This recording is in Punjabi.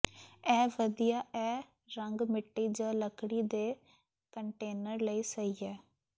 ਇਹ ਵਧੀਆ ਇਹ ਰੰਗ ਮਿੱਟੀ ਜ ਲੱਕੜੀ ਦੇ ਕੰਟੇਨਰ ਲਈ ਸਹੀ ਹੈ